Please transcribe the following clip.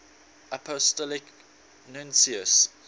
apostolic nuncios